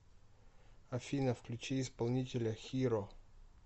афина включи исполнителя хиро